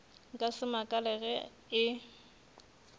nka se makale ge e